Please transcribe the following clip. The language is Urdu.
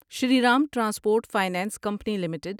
Shri Ram transport finance company limited